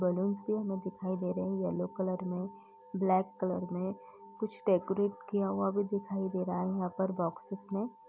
Balloons जो हमें दिखाई दे रहे हैं येलो कलर में ब्लैक कलर में। कुछ डेकोरेट किया हुआ भी दिखाई दे रहा है यहाँ पर बॉक्सेस में।